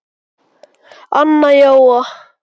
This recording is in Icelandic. Anna Jóa